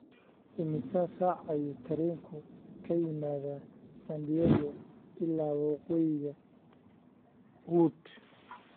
imisa saac ayuu tareenku ka yimaadaa san Diego ilaa waqooyiga hwood